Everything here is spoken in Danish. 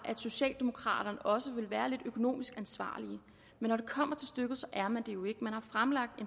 socialdemokraterne også ville være lidt økonomisk ansvarlige men når det kommer til stykket er man det jo ikke man har fremlagt